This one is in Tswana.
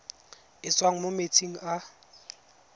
e tswang mo metsing a